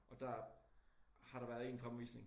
Og der har der været 1 fremvisning